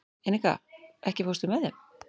Enika, ekki fórstu með þeim?